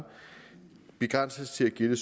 begrænses til at gælde